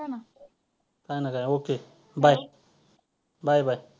काय नाही काय okay bye bye bye